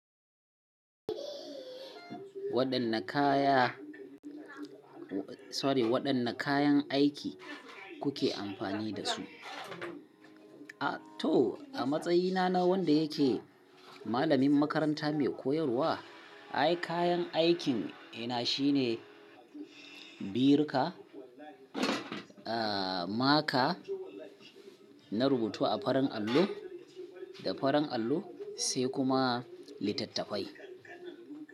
Waɗanne kaya, sorry, waɗanne kayan aiki kuke amfani da su? A to, a matsayina na wanda yake malamin makaranta mai koyarwa, ay kayan aikina shine biruka, eh maka na rubutu a farin allo da farin allo sai kuma litattafai.